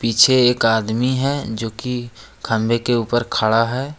पीछे एक आदमी है जो की खंभे के ऊपर खड़ा है।